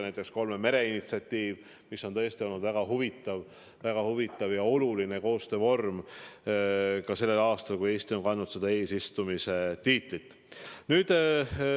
Näiteks kolme mere initsiatiiv, mis on tõesti olnud väga huvitav ja oluline koostöövorm ka sellel aastal, kui Eesti on seal kandnud eesistuja tiitlit.